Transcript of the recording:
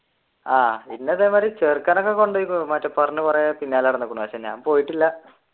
ആഹ് പിന്നെ അതേമാതിരി ചേർക്കാൻ ഒക്കെ കൊണ്ടേയിരിക്കുന്നു ഞാൻ പോയിട്ടില്ല.